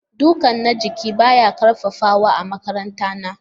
Duka na jiki baya ƙarfafawa a makarantara.